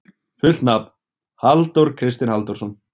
Fullt nafn: Halldór Kristinn Halldórsson.